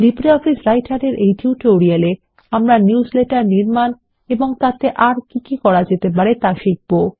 LibreOffice Writer এই tutorial এ আমরা নিউজলেটার নির্মাণ এবং তাতে আর কি কি করা যেতে পারে তা শিখবো